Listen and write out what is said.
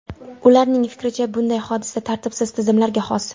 Ularning fikricha, bunday hodisa tartibsiz tizimlarga xos.